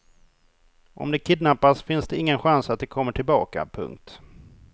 Om de kidnappas finns det ingen chans att de kommer tillbaka. punkt